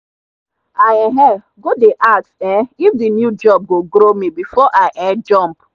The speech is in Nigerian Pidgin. i um go dey ask um if the new job go grow me before i um jump.